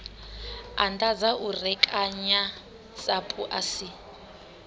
anḓadza u rekanya sapu asi